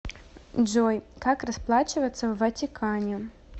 джой как расплачиваться в ватикане